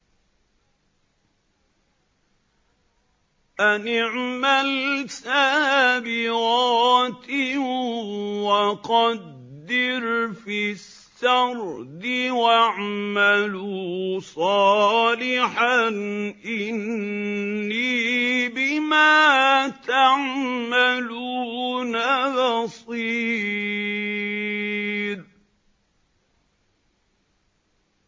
أَنِ اعْمَلْ سَابِغَاتٍ وَقَدِّرْ فِي السَّرْدِ ۖ وَاعْمَلُوا صَالِحًا ۖ إِنِّي بِمَا تَعْمَلُونَ بَصِيرٌ